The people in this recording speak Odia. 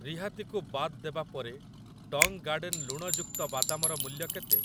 ରିହାତି କୁ ବାଦ୍ ଦେବା ପରେ ଟଙ୍ଗ ଗାର୍ଡେନ ଲୁଣଯୁକ୍ତ ବାଦାମ ର ମୂଲ୍ୟ କେତେ?